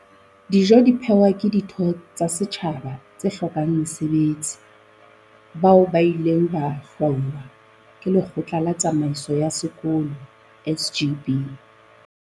Dijo di phehwa ke ditho tsa setjhaba tse hlokang mesebetsi, bao ba ileng ba hlwahwa ke lekgotla la tsamaiso ya sekolo, SGB.